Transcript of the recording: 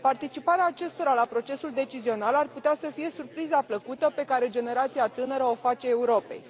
Participarea acestora la procesul decizional ar putea să fie surpriza plăcută pe care generația tânără o face Europei.